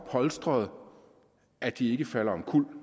polstrede at de ikke falder omkuld